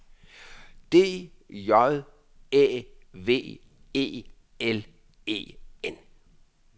D J Æ V E L E N